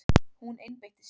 Hún einbeitti sér.